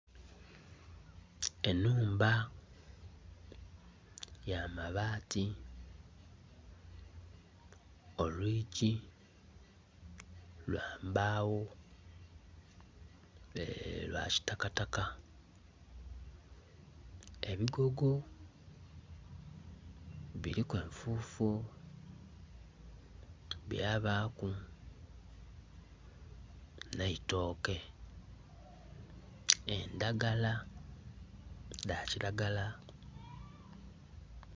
Enhumba ya mabaati, olwigi, lwambagho, lwakitakata, ebigogo, biriku enfufu, byabaaku neitoke. Eendhagala dha kilagala.